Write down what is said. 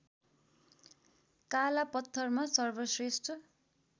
काला पत्थरमा सर्वश्रेष्ठ